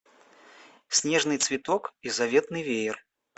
снежный цветок и заветный веер